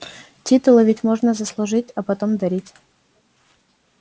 титулы ведь можно заслужить а потом дарить